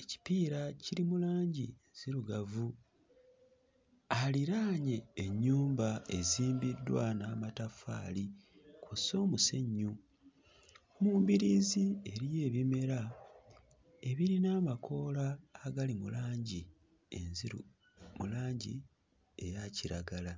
Ekipiira kiri mu langi nzirugavu aliraanye ennyumba ezimbiddwa n'amataffaali kw'ossa omusenyu. Mu mbiriizi eriyo ebimera ebirina amakoola agali mu langi enziru mu langi eya kiragala.